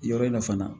Yɔrɔ in na fana